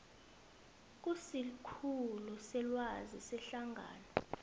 kusikhulu selwazi sehlangano